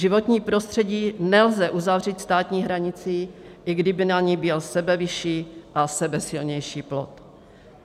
Životní prostředí nelze uzavřít státní hranicí, i kdyby na ní byl sebevyšší a sebesilnější plot.